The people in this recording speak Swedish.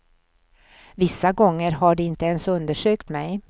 Vissa gånger har de inte ens undersökt mig.